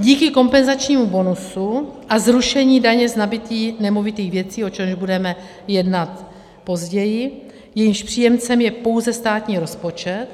Díky kompenzačnímu bonusu a zrušení daně z nabytí nemovitých věcí, o čemž budeme jednat později, jejímž příjemcem je pouze státní rozpočet,